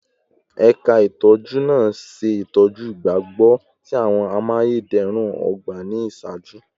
Ẹka itọju naa ṣe itọju igbagbogbo ti awọn amayederun ogba ni iṣaaju